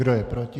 Kdo je proti?